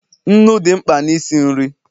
nnu dị mkpa na isi nri